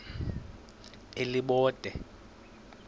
elibode